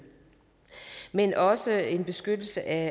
men også en beskyttelse af